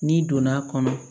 N'i donn'a kɔnɔ